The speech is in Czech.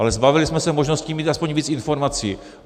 Ale zbavili jsme se možností mít aspoň víc informací.